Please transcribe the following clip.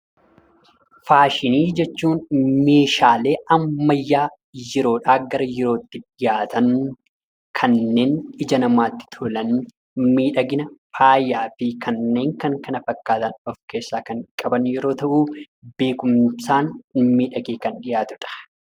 Faashinii jechuun meeshaalee ammayyaa yeroodhaa gara yerootti dhiyaatan, kanneen ija namaatti tolan, miidhagina faayaa fi kanneen kana fakkaatan of keessaa qaban yoo ta’u, beekumsaan miidhagee kan dhiyaatudha.